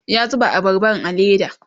ya zuba abarban a leda